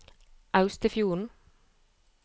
Austefjorden